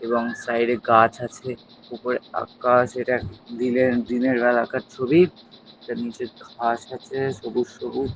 এবং সাইড -এ গাছ আছে উপরে আকাশ। এটা দিনের দিনের বেলাকার ছবি। এটার নীচে ঘাস আছে সবুজ সবুজ।